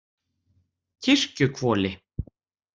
Kirkjuhvoli